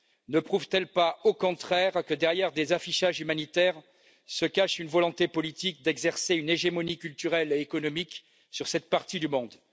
Ne prouvent t elles pas, au contraire, que derrière des affichages humanitaires se cache une volonté politique d'exercer une hégémonie culturelle et économique sur cette partie du monde?